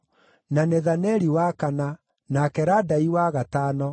na Nethaneli wa kana, nake Radai wa gatano,